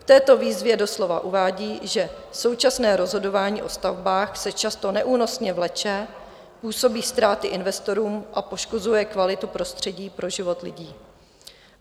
V této výzvě doslova uvádí, že současné rozhodování o stavbách se často neúnosně vleče, působí ztráty investorům a poškozuje kvalitu prostředí pro život lidí.